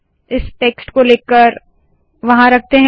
इस टेक्स्ट को लेकर वहाँ रखते है